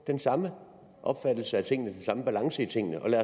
den samme opfattelse af tingene den samme balance i tingene